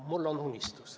Mul on unistus.